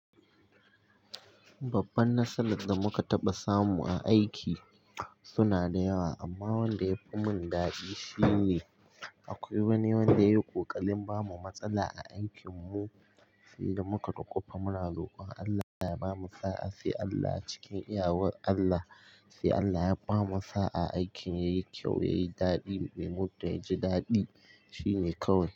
Babban nasarar da muka taɓa samu a aiki suna da yawa, amma wanda yafi mun daɗi shine akwai wani wanda yayi ƙoƙarin bamu matsala a aikin mu, sai da muka dukufa muna rokon Allah ya bamu sa'a. Sai Allah a cikin iyawar Allah, sai Allah ya bamu sa'a, aikin ya yi kyau, ya yi daɗi, mu kai ji daɗi. Shi ne kawai.